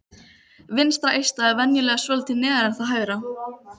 Vinstra eistað er venjulega svolítið neðar en það hægra.